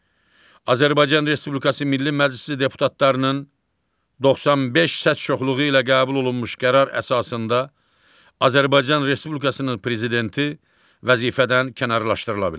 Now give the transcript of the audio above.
Azərbaycan Respublikası Milli Məclisi deputatlarının 95 səs çoxluğu ilə qəbul olunmuş qərar əsasında Azərbaycan Respublikasının prezidenti vəzifədən kənarlaşdırıla bilər.